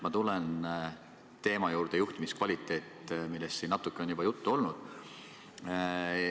Ma tulen teema "Juhtimiskvaliteet" juurde, millest siin natuke on juba juttu olnud.